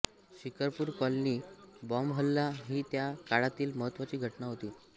Shikarpur colony बॉम्बहल्ला ही त्या काळातील महत्त्वाची घटना होती